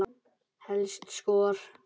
Helstu skor